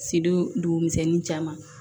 Sido dugu misɛnin caman